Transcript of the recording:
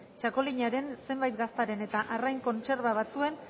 txakolinaren zenbait gaztaren eta arrain kontserba batzuen